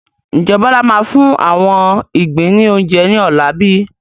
Ǹjẹ́ Bọlá máa fún àwọn igbin ni oúnjẹ ní ọ̀la bíi?